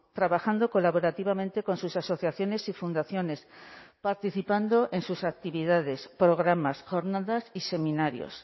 trabajando colaborativamente con sus asociaciones y fundaciones participando en sus actividades programas jornadas y seminarios